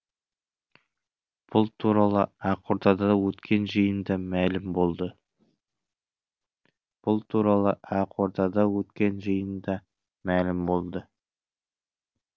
бұл туралы ақордада өткен жиында мәлім болды